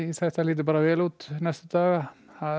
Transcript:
þetta lýtur vel út næstu daga